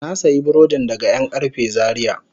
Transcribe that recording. Na sayi burodin daga yankarfe Zaria.